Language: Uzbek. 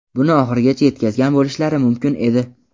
buni oxirigacha yetkazgan bo‘lishlari mumkin edi.